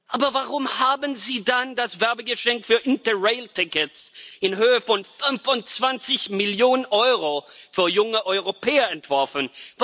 Aber warum haben Sie dann das Werbegeschenk für Interrailtickets in Höhe von 25 Millionen EUR für junge Europäer entworfen?